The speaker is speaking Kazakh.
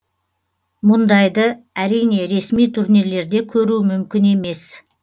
бұндайды әрине ресми турнирлерде көру мүмкін емес